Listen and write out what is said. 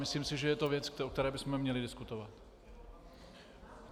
Myslím si, že je to věc, o které bychom měli diskutovat.